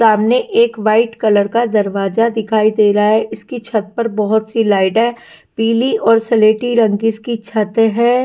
सामने एक white colour का दरवाजा दिखाई दे रहा है इसकी छत पर बहुत सी लाइट है पीली और सलेटी रंग की इसकी छत है।